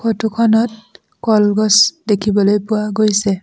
Photo খনত কলগছ দেখিবলৈ পোৱা গৈছে।